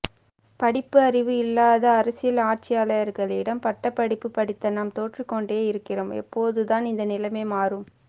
படிப்பறிவு இல்லாத அரசியல் ஆட்சியாளர்களிடம் பட்டபடிப்பு படித்த நாம் தோற்று கொண்டே இருக்குறோம் எப்போது தான் இந்த நிலைமை மாறும்